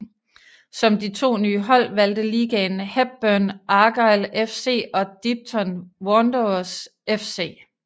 Som de to nye hold valgte ligaen Hebburn Argyle FC og Dipton Wanderers FC